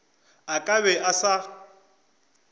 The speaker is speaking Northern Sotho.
a ka be a sa